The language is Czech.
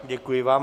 Děkuji vám.